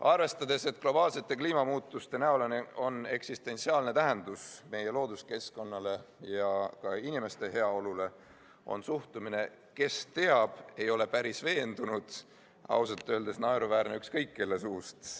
" Arvestades, et globaalsetel kliimamuutustel on eksistentsiaalne tähendus meie looduskeskkonnale ja inimeste heaolule, on suhtumine "kes teab, ei ole päris veendunud" ausalt öeldes naeruväärne ükskõik kelle suust.